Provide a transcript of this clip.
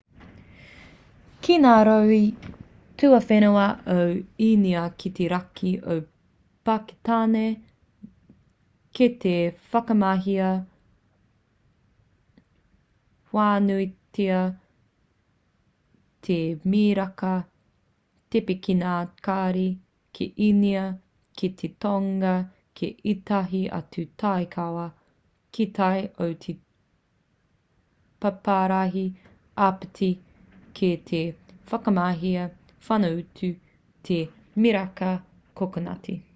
ki ngā rohe tuawhenua o īnia ki te raki o pakitāne kei te whakamahia whānuitia te miraka tepe ki ngā kari ki īnia ki te tonga ki ētahi atu takiwā ki tai o te paparahi āpiti kei te whakamahia whānuitia te miraka kokonati